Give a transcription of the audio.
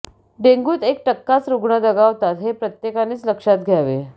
डेंग्यूत एक टक्काच रुग्ण दगावतात हे प्रत्येकानेच लक्षात घ्यावे